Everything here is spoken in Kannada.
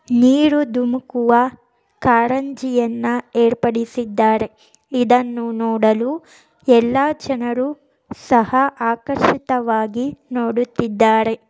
ನೀರು ಧುಮುಕುವ ಕಾರಂಜಿಯನ್ನು ಏರ್ಪಡಿಸಿದ್ದಾರೆ ಇದನ್ನು ನೋಡಲು ಎಲ್ಲಾ ಜನರು ಸಹ ಆಕರ್ಷಿತವಾಗಿ ನೋಡುತ್ತಿದ್ದಾರೆ.